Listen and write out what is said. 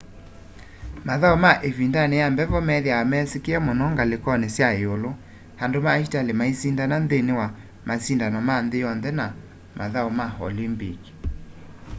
mathau ma ivindani ya mbevo methiawa mesikiie muno ngalikoni sya iulu andu ma itali maisindana nthini wa masindano ma nthi yonthe na mathau ma olympic